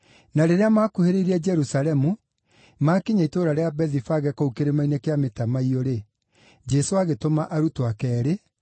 Na rĩrĩa maakuhĩrĩirie Jerusalemu, maakinya itũũra rĩa Bethifage kũu Kĩrĩma-inĩ kĩa Mĩtamaiyũ-rĩ, Jesũ agĩtũma arutwo ake eerĩ,